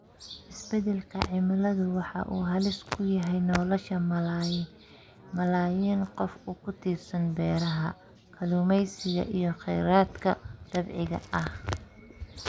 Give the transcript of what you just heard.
Isbeddelka cimiladu waxa uu halis ku yahay nolosha malaayiin qof oo ku tiirsan beeraha, kalluumeysiga iyo kheyraadka dabiiciga ah.